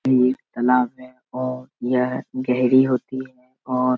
ये एक तालाब है। और यह गेहरी होती है। और --